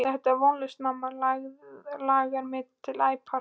Þetta er vonlaust mamma langar mig til að æpa.